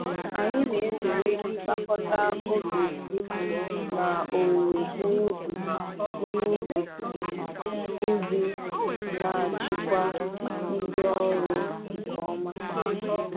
Anyị na-ezere ịgbakọta oge ịkụ na owuwe ihe ubi ihe ubi iji na-achịkwa ndi ọrụ nke ọma.